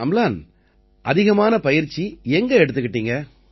அம்லான் அதிகமான பயிற்சி எங்க எடுத்துக்கிட்டீங்க